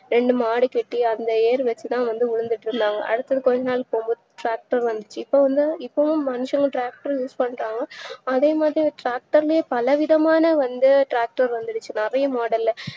ரெண்டு மாடு கட்டி அந்த ஏர் வச்சுத்தா வந்து உழுதுட்டு இருந்தாங்க இப்போவந்து இப்போம் மனுஷனும் tracter ம் use பண்றாங்க அதேமாறி tracter லயே பலவிதமான வந்து tracter வந்துடுச்சு நறைய model ல